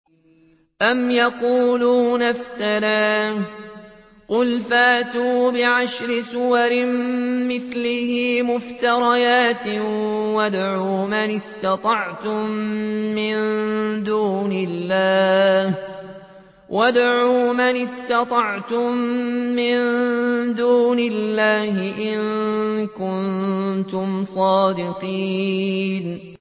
أَمْ يَقُولُونَ افْتَرَاهُ ۖ قُلْ فَأْتُوا بِعَشْرِ سُوَرٍ مِّثْلِهِ مُفْتَرَيَاتٍ وَادْعُوا مَنِ اسْتَطَعْتُم مِّن دُونِ اللَّهِ إِن كُنتُمْ صَادِقِينَ